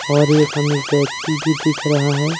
और ये फर्नीचर भी दिख रहा है।